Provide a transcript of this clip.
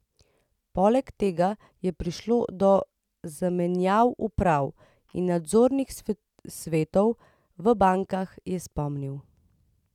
Poleg tega je prišlo do zamenjav uprav in nadzornih svetov v bankah, je spomnil.